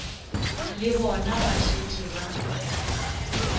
le bona ba šetše ba